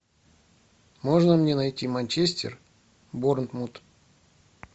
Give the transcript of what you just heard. можно мне найти манчестер борнмут